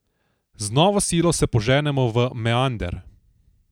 Z novo silo se poženemo v meander.